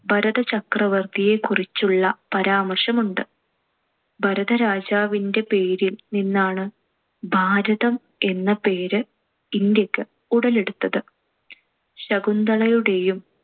ഭരതചക്രവർത്തിയെക്കുറിച്ചുള്ള പരാമർശമുണ്ട്. ഭരതരാജാവിന്‍റെ പേരിൽ നിന്നാണ് ഭാരതം എന്ന പേര് ഇന്ത്യക്ക് ഉടലെടുത്തത്. ശകുന്തളയുടെയും